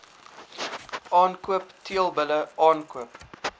aankoop teelbulle aankoop